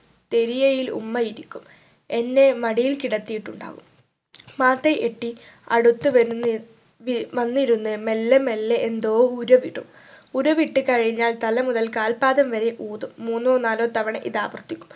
തെരിയയിൽ ഉമ്മ ഇരിക്കും എന്നെ മടിയിൽ കിടത്തിയിട്ടുണ്ടാവും മാതയ് എട്ടി അടുത്ത് വരുന്നിരി വി വന്നിരുന്ന് മെല്ലെ മെല്ലെ എന്തോ ഉരവിടും ഉരുവിട്ട് കഴിഞ്ഞാൽ തല മുതൽ കാൽപാദം വരെ ഊതും മൂന്നോ നാലോ തവണ ഇത് ആവർത്തിക്കും